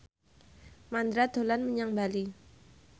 Mandra dolan menyang Bali